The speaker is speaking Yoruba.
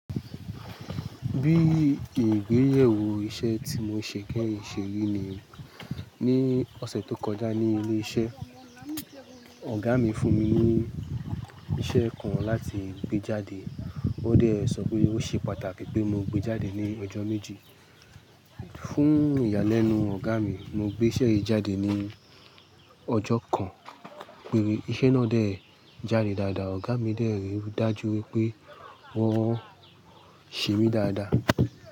Bí ìgbéyèwò iṣẹ́ tí mo ṣe kẹ́yìn ṣe yí ni, ní ọ̀sẹ̀ tó kọjá ní ilé iṣẹ́, ọ̀gá mi fún mi ní iṣẹ́ kan láti gbé jáde. Ó dẹ̀ sọ pé ó ṣe pàtàkì pé mo gbé jáde ní ọjọ́ méjì. Fún ìyàlẹ́nu ọ̀gá mi, mo gbé iṣẹ́ yìí jáde ní ọjọ́ kan. Níbi iṣẹ́ náà dẹ̀ jáde dáadáa, ọ̀gá mi dẹ̀ rì dájú wípé wọ́n ṣe mí dáadáa.